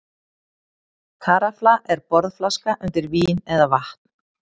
Karafla er borðflaska undir vín eða vatn.